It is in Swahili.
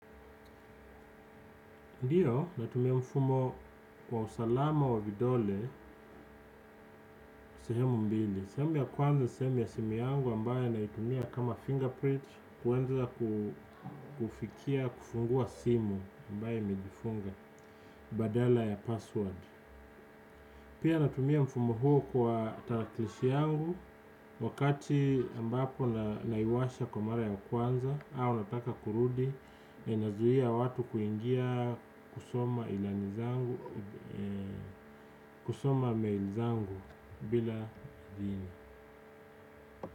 Ndiyo natumia mfumo kwa usalama wa vidole sehemu mbili sehemu ya kwanza sehemu ya simu yangu ambayo naitumia kama fingerprint kuanza kufikia kufungua simu ambayo imejifunga badala ya password pia natumia mfumo huo kwa taraklishi yangu wakati ambapo naiwasha kwa mara ya kwanza au nataka kurudi na inazuia watu kuingia kusoma ilani zangu kusoma mail zangu bila idhini.